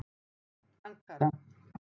Ankara